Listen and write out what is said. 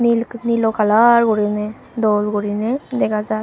el nilo colour guriney dol guriney dega jar.